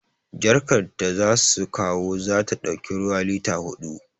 Jarkar da za su kawo za ta ɗauki ruwa lita huɗu